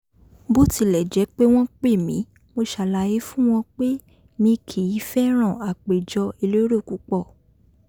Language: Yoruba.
bó tilẹ̀ jẹ́ pé wọ́n pè mí mo ṣàlàyé fún wọn pé mi kìí fẹ́ràn àpèjọ elérò púpọ̀